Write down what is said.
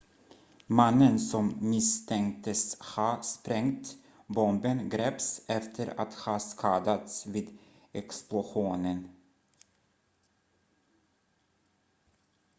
mannen som misstänktes ha sprängt bomben greps efter att ha skadats vid explosionen